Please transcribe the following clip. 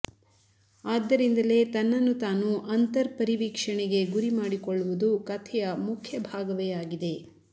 ಆದ್ದರಿಂದಲೇ ತನ್ನನ್ನು ತಾನು ಅಂತರ್ಪರಿವೀಕ್ಷಣೆಗೆ ಗುರಿಮಾಡಿಕೊಳ್ಳುವುದು ಕಥೆಯ ಮುಖ್ಯ ಭಾಗವೇ ಆಗಿದೆ